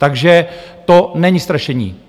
Takže to není strašení.